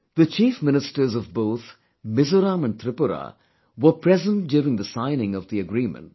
The Chief Ministers of both Mizoram and Tripura were present during the signing of the agreement